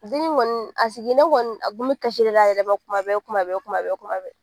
Dennin kɔni a sigilen kɔni a tun bɛ kasi la a yɛrɛma kuma bɛɛ kuma bɛɛ kuma bɛɛ kuma bɛɛ